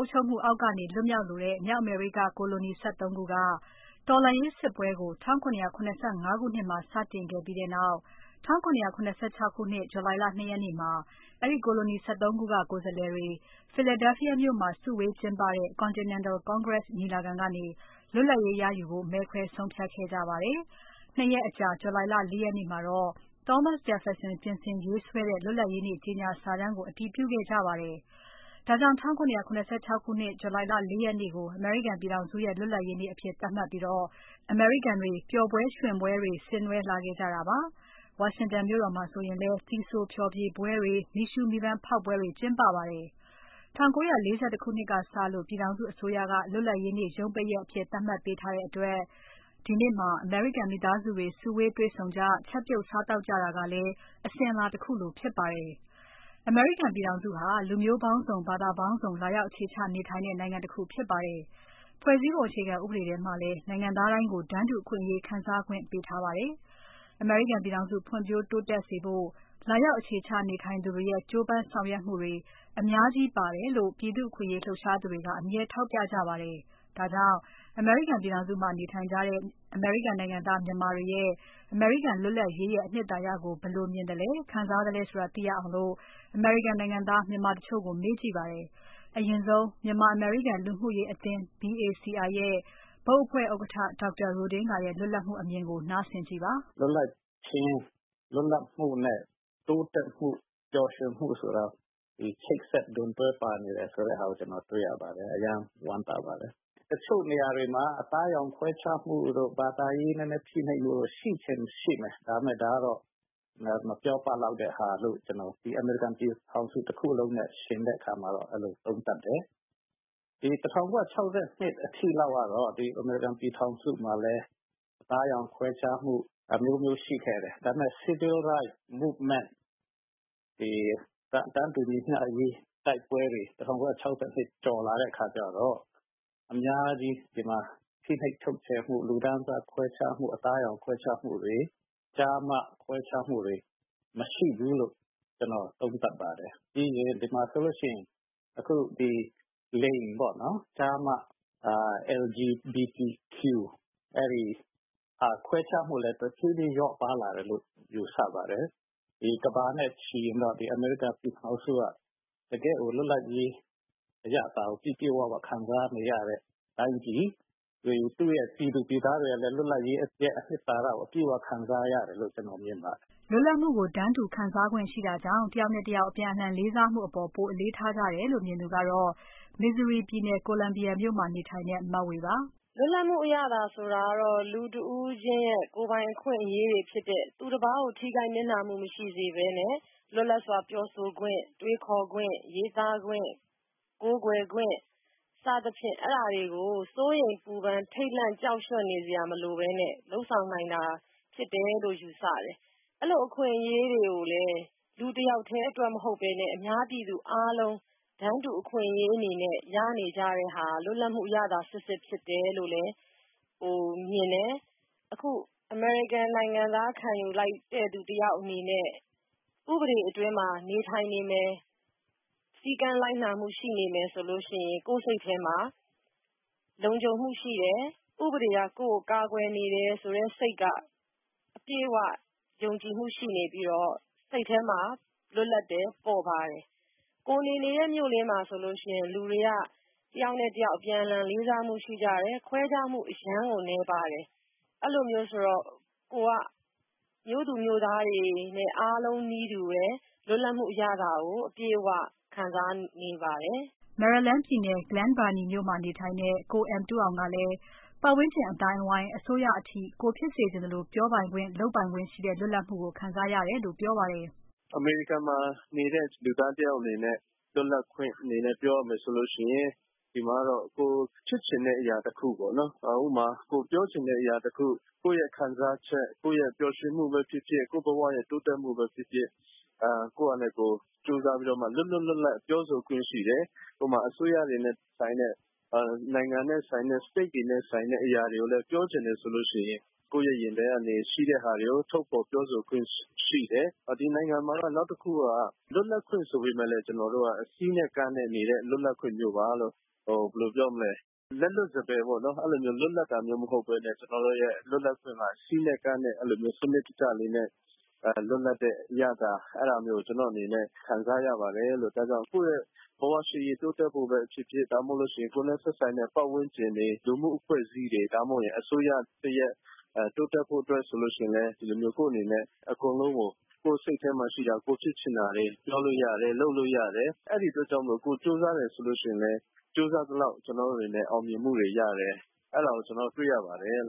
အုပ်ချုပ်မှုအောက်ကနေ လွတ်မြောက်လိုတဲ့ မြောက်အမေရိက ကိုလိုနီ ၁၃ ခုက တော်လှန်ရေးစစ်ပွဲကို 1775 ခုနှစ်မှာ စတင်ခဲ့ပြီးနောက် 1776 ခုနှစ် July လ ၂ ရက်နေ့မှာ အဲဒီကိုလိုနီ ၁၃ ခုက ကိုယ်စားလှယ်တွေ Philadelphia မြို့မှာစုဝေးကျင်းပတဲ့ Continental Congress ညီလာခံကနေ လွတ်လပ်ရေးရယူဖို့ မဲခွဲဆုံးဖြတ်ခဲ့ကြပါတယ်။ ၂ ရက်အကြာ July လ ၄ ရက်နေ့မှာတော့ Thomas Jefferson ပြင်ဆင်ရေးဆွဲတဲ့ လွတ်လပ်ရေးနေ့ ကြေညာစာတမ်းကို အတည်ပြုခဲ့ကြပါတယ်။ ဒါကြောင့် ၁၇၇၆ ခုနှစ်ထဲက July လ ၄ ရက်နေ့ကို အမေရိကန်ပြည်ထောင်စုရဲ့ လွတ်လပ်ရေးနေ့အဖြစ် သတ်မှတ်ပြီး အမေရိကန်တွေ ပျော်ပွဲရွှင်ပွဲတွေ ဆင်နွဲလာခဲ့ကြတာပါ။ ဝါရှင်တန်မြို့တော်မှာဆိုလည်း သီဆိုဖျော်ဖြေပွဲတွေ။ မီးရှူး မီးပန်းဖေါက်ပွဲတွေ ကျင်းပပါတယ်။ ၁၉၄၁ ခုနှစ်ကစလို့ ပြည်ထောင်စုအစိုးရက လွတ်လပ်ရေးနေ့ ရုံးပိတ်ရက်အဖြစ် သတ်မှတ်ပေးထားတဲ့အတွက် ဒီနေ့မှာ အမေရိကန် မိသားစုတွေ စုဝေးတွေ့ဆုံကြ ချက်ပြုစားသောက်ကြတာကလည်း အစဉ်အလာတခုလိုဖြစ်ပါတယ်။ အမေရိကန်ပြည်ထောင်စုဟာ လူမျိုးပေါင်းစုံ။ ဘာသာပေါင်းစုံ လာရောက် အခြေချနေထိုင်တဲ့ နိုင်ငံတခုဖြစ်ပါတယ်။ ဖွဲ့စည်းပုံ အခြေခံဥပဒေထဲမှာလည်း နိုင်ငံသားတိုင်းကို တန်းတူအခွင့်အရေး ခံစားခွင့် ပေးထားတာဖြစ်ပါတယ်။ အမေရိကန်ပြည်ထောင်စု ဖွံ့ဖြိုးတိုးတက်စေဖို့ လာရောက်အခြေချ နေထိုင်သူတွေရဲ့ ကြိုးပမ်းဆောင်ရွက်ပေးမှုတွေ အများကြီး ပါတယ်လို့ ပြည်သူ့အခွင့်အရေးလှုပ်ရှားသူတွေက အမြဲထောက်ပြကြပါတယ်။ ဒါကြောင့် အမေရိကန်ပြည်ထောင်စုမှာ နေထိုင်ကြတဲ့ အမေရိကန်နိုင်ငံသား မြန်မာတွေရဲ့ အမေရိကန်လွတ်လပ်ရေးရဲ့ အနှစ်သာရကို ဘယ်လိုမြင်သလဲ ခံစားသလဲဆိုတာ သိရအောင် အမေရိကန်နိုင်ငံသား မြန်မာတချို့ကို မေးကြည့်ပါတယ်။ အရင်ဆုံး မြန်မာ အမေရိကန် လူမှုရေးအသင်း BACI ရဲ့ ဘုတ်အဖွဲ့ ဥက္ကဋ္ဌ ဒေါက်တာ Ro Dinga ရဲ့ လွတ်လပ်မှုအမြင်ကို နားဆင်ကြည့်ပါ။ "လွတ်လပ်ခြင်း၊ လွတ်လပ်မှုနဲ့ တိုးတက်မှု ပျော်ရွှင်မှုဆိုတာ ချိတ်ဆက်ဒွန်တွဲပါနေတယ်ဆိုတာကို ကျနော်တွေ့ရပါတယ်။ အရမ်းဝမ်းသာပါတယ်။ တချို့နေရာတွေမှာ အသားအရောင်ခွဲခြားမှုတို့ ၊ ဘာသာရေးဖိနှိပ်မှုတို့ ရှိချင်ရင်ရှိမယ်၊ ဒါပေမယ့် ဒါကတော့ မပြောပလောက်တဲ့ဟာ လို့ ၊ ဒီအမေရိကန်ပြည်ထောင်စုတခုလုံးနဲ့ ယှဉ်တဲ့အခါမှာတော့ အဲလိုသုံးသပ်တယ်။ ဒီ ၁၉၆၂ အထိလောက်ကတော့ ဒီအမေရိကန်ပြည်ထောင်စုမှာလည်း အသားအရောင်ခွဲခြားမှုတို့ အမျိုးမျိုးရှိခဲ့တယ်။ ဒါပေမယ့် Civil Rights Movement တွေတန်းတူညီမျှအရေး တိုက်ပွဲတွေ ၁၉၆၂ကျော်လာတဲ့အခါကျတော့ အများကြီးဒီမှာ ဖိနှိပ်ချုပ်ချယ်မှု လူတန်းစားခွဲခြားမှု ၊ အသားအရောင်ခွဲခြားမှုတွေ ကျားမခွဲခြားမှုတွေ မရှိဘူးလို့ သုံးသပ်ပါတယ်။ပြီးရင် ဒီမှာဆိုရင်အခု ကျား၊မ၊ လိင် LGBT အဲဒီခွဲခြားမှုကလည်း တဖြေးဖြေးလျော့ပါးလာတယ်လို့ ယူဆပါတယ်။ ကမ္ဘာနဲ့ချီရင်တော့ အမေရိကန်ပြည်ထောင်စုက တကယ့်လွတ်လပ်ရေးအရသာကို ပြည့်ပြည့်၀၀ခံစားနေရတဲ့ တိုင်းပြည် ၊ သူ့ပြည်သူပြည်သားတွေကလည်း လွတ်လပ်ရေးအနှစ်သာရကို အပြည့်အဝခံစားရတယ်လို့ မြင်ပါတယ်။" လွတ်လပ်မှုကို တန်းတူခံစားနိုင်ခွင့်ရှိတာကြောင့် တယောက်နဲ့တယောက် အပြန်အလှန်လေးစားမှုအပေါ် ပိုပြီးအလေးထားကြတယ်လို့ မြင်သူကတော့ Missouri ပြည်နယ် Columbia မြို့မှာနေထိုင်တဲ့ မဝေပါ။ "လွတ်လပ်မှုအရသာဆိုတာကတော့ လူတဦးချင်းရဲ့ ကိုယ်ပိုင်အခွင့်အရေးတွေ ဖြစ်တဲ့ သူတပါးကို ထိခိုက်နစ်နာမှုမရှိစေပဲနဲ့ လွတ်လပ်စွာပြောဆိုခွင့် တွေးခေါ်ခွင့် ရေးသားခွင့် ကိုးကွယ်ခွင့်တွေကို စိုးရိမ်ပူပန်ထိတ်လန့်ကြောက်နေစရာမလိုပဲနဲ့ လုပ်ဆောင်နိုင်တာဖြစ်တယ်လို့ ယူဆတယ်။ အဲလိုအခွင့်အရေးတွေကိုလည်း လူတယောက်တည်းအတွက်မဟုတ်ပဲနဲ့ အများပြည်သူအားလုံးတန်းတူအခွင့်အရေးအနေနဲ့ ရနေကြတဲ့ဟာ လွတ်လပ်မှုအရသာစစ်စစ်ဖြစ်တယ်လို့လဲ မြင်တယ်။ အခု အမေရိကန်နိုင်ငံသားအနေနဲ့ ခံယူလိုက်တဲ့သူတယောက်အနေနဲ့ ဥပဒေဘောင်အတွင်းမှာ နေထိုင်နေမယ် စည်းကမ်းလိုက်နာမှုရှိနေမယ်ဆိုရင် ကိုယ့်စိတ်ထဲမှာ လုံခြုံမှုရှိတယ်၊ ဥပဒေက ကိုယ့်ကိုကာကွယ်နေတဲ့ စိတ်က အပြည့်အဝယုံကြည်မှု ရှိနေပြီးတော့ စိတ်ထဲမှာ လွတ်လပ်တယ် ပေါ့ပါးတယ်၊ ကိုယ်နေနေတဲ့ မြို့လေးမှာဆိုရင် လူတွေက တယောက်နဲ့တယောက် အပြန်အလှန်လေးစားမှုရှိတယ် ခွဲခြားမှုအရမ်းနည်းပါးတယ် အဲလိုမျိုးဆိုတော့ ၊ ကိုယ်က မြို့သူမြို့သားတွေအားလုံးနီးပါးနီးတူ လွတ်လပ်မှုအရသာကို အပြည့်အ၀ ခံစားနေပါတယ်။" Maryland ပြည်နယ် Glen Burnie မြို့မှာ နေထိုင်တဲ့ ကို M. Tu Aung ကလည်း ပတ်ဝန်းကျင်အသိုင်းအဝိုင်း။ အစိုးရအထိ ကိုယ်ဖြစ်စေချင်သလို ပြောပိုင်ခွင့် လုပ်ပိုင်ခွင့်ရှိတဲ့ လွတ်လပ်မှုကို ခံစားရတယ်လို့ ပြောပါတယ်။ "အမေရိကန်ပြည်ထောင်စုမှာနေတဲ့ လူသားတယောက်အနေနဲ့ လွတ်လပ်ခွင့်အနေနဲ့ ပြောမယ်ဆိုရင် ဒီမှာကတော့ ကိုယ်ဖြစ်ချင်တဲ့အရာတခုပေါ့နော် ကိုယ်ပြောချင်တဲ့အရာတခု၊ ကိုယ့်ခံစားချက်၊ ပျော်ရွှင်မှုပဲဖြစ်ဖြစ် ကိုယ့်ဘဝတိုးတက်မှုပဲဖြစ်ဖြစ် ကိုယ့်ဟာနဲ့ကို ကြိုးစားပြီးတော့ လွတ်လွတ်လပ်လပ်ပြောဆိုခွင့်ရှိတယ်။ အစိုးရတွေနဲ့ဆိုင်တဲ့ နိုင်ငံနဲ့ ဆိုင်တဲ့ State တွေနဲ့ ဆိုင်တဲ့အရာကိုပြောချင်တယ်ဆိုရင် ကိုယ့်ရင်ထဲမှာရှိတဲ့ဟာတွေကို ထုတ်ဖော်ပြောဆိုခွင့်ရှိတယ်။ ဒီနိုင်ငံမှာက နောက်တခုက လွတ်လပ်ခွင့်ဆိုပေမယ့် ကျနော်တို့က စည်းနဲ့ကမ်းနဲ့ နေတဲ့လွတ်လပ်ခွင့်မျိုးပါလို့ ၊ လက်လွတ်စပယ်လွတ်လပ်တာမဟုတ်ပဲနဲ့ စည်းနဲ့ကမ်းနဲ့ စနစ်တကျလွတ်လပ်တာလို့ ကျနော့်အနေနဲ့ ခံစားရပါတယ်။ ကိုယ့်ရဲ့ ဘဝရှေ့ရေးတိုးတက်ဖို့ပဲဖြစ်ဖြစ် ကိုယ်နဲ့ သက်ဆိုက်တဲ့ ပတ်ဝန်းကျင် လူမှုအဖွဲ့အစည်းတွေ အစိုးရတရပ်တိုးတက်ကောင်းမွန်ဖို့ဆိုရင် ကိုယ့်အနေနဲ့ ကိုယ့်စိတ်ထဲမှာရှိတာ၊ ဖြစ်ချင်တာတွေကို ပြောလို့ရတယ် လုပ်လို့ရတယ် အဲဒီအတွက်ကြောင့်မို့ ကိုယ်ကြိုးစားရင်လည်း ကြိုးစားသလောက်အောင်မြင်မှုရတယ်လို့ တွေ့ရပါတယ်။"